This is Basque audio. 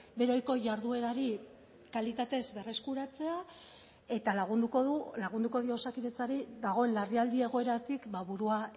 bere ohiko jarduerari kalitatez berreskuratzea eta lagunduko du lagunduko dio osakidetzari dagoen larrialdi egoeratik burua